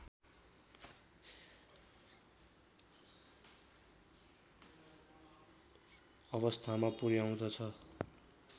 अवस्थामा पुर्‍याउँदछ